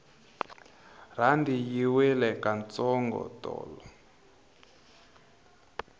rhandi yi wile ka ntsongo tolo